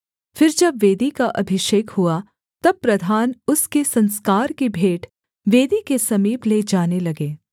फिर जब वेदी का अभिषेक हुआ तब प्रधान उसके संस्कार की भेंट वेदी के समीप ले जाने लगे